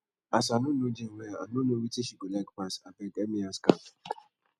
as i no know jane well i no know wetin she go like pass abeg help me ask am